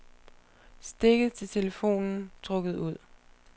Stikket til telefonen trukket ud.